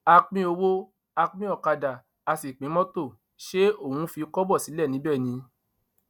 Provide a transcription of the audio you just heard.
a pín owó a pín ọkadà a sì pín mọtò ṣe òun fi kọbọ sílẹ níbẹ ni